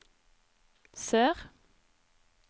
sør